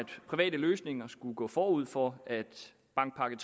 private løsninger skulle gå forud for at bankpakke